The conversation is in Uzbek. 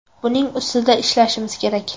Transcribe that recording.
Buning ustida ishlashimiz kerak.